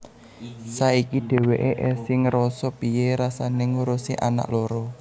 Saiki dheweké esih ngerasa piye rasané ngurusi anak loro